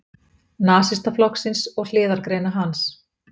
Nasistaflokksins og hliðargreina hans.